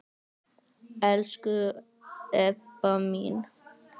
Elsku Ebba mín.